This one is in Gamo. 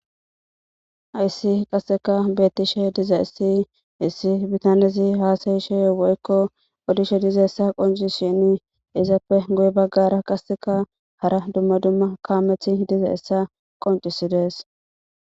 Hyssi qasseka betiishshe diza issi issi bitanezi haasayiishshe woykko odishshe dizayssa qoncisishin izappe guye baggara qassekka hara dumma dumma kameti dizayessa qoncisidees